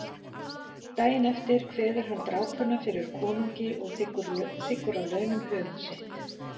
Daginn eftir kveður hann drápuna fyrir konungi og þiggur að launum höfuð sitt.